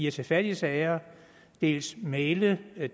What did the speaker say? og tage fat i sager og dels mægle